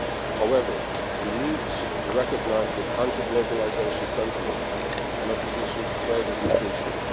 However, we need to recognise that anti globalisation sentiment and opposition to trade are increasing.